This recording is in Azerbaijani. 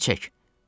Əlini çək!